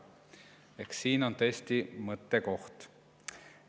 Eks siin on tõesti mõttekoht.